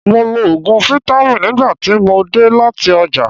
Mo lo òògùn fítámìn nígbà tí mo dé láti ọjà.